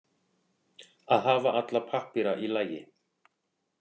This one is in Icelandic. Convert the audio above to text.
Að hafa alla pappíra í lagi